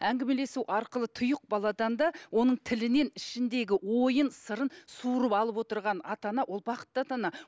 әңгімелесу арқылы тұйық баладан да оның тілінен ішіндегі ойын сырын суырып алып отырған ата ана ол бақытты ата ана